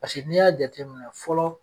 Pasekee n'i y'a jateminɛ fɔlɔ.